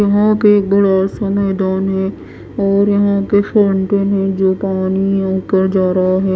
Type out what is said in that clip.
यहाँ पे एक बड़ा सा मैदान है और यहाँ पे फाउंटेन है जो पानी ऊपर जा रहा है।